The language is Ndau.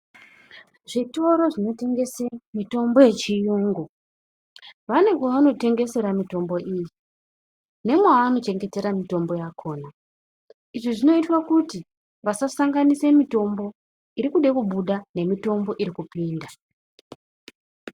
Zvitoro zvinotengese mitombo yechiyungu , vane kwavanotengesera mitombo iyi nemwaanochengetera mitombo yakhona .Izvi zvinoitwa kuti vasasanganise mitombo irikude kubuda nemitombo irikupinda .